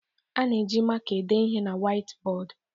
A na-eji maka ede ihe na Waitibọọdụ